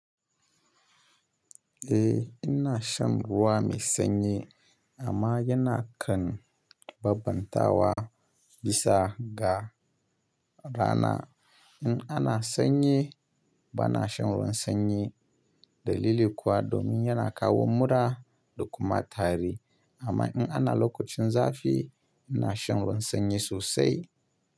Eh ina shan ruwa mai sanyi amma yana kan bambanta wa bisa ga rana. In ana sanyi bana shan ruwan sanyi dalili kuwa domin yana kawo mura da kuma tari. Amma in ana lokacin zafi ina shan ruwan sanyi sosai.